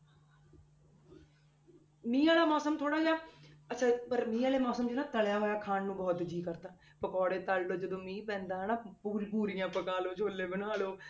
ਮੀਂਹ ਵਾਲਾ ਮੌਸਮ ਥੋੜ੍ਹਾ ਜਿਹਾ ਅੱਛਾ ਪਰ ਮੀਂਹ ਵਾਲੇ ਮੌਸਮ 'ਚ ਨਾ ਤਲਿਆ ਹੋਇਆ ਖਾਣ ਨੂੰ ਬਹੁਤ ਜੀਅ ਕਰਦਾ, ਪਕੌੜੇ ਤਲ ਲਓ ਜਦੋਂ ਮੀਂਹ ਪੈਂਦਾ ਹਨਾ ਪੂਰ~ ਪੂਰੀਆਂ ਪਕਾ ਲਓ ਛੋਲੇ ਬਣਾ ਲਓ।